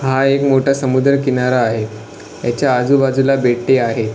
हा एक मोठा समुद्र किनारा आहे याच्या आजूबाजूला बेटे आहे.